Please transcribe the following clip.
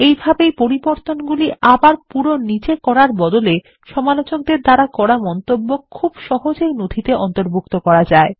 এইভাবেই পরিবর্তনগুলি আবার পুরো নিজে করার বদলে সমালোচকদের দ্বারা করা মন্তব্য খুব সহজেই নথিতে অন্তর্ভুক্ত করা যায়